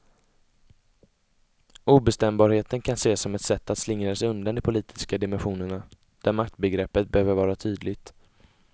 Obestämbarheten kan ses som ett sätt att slingra sig undan de politiska dimensionerna, där maktbegreppet behöver vara tydligt.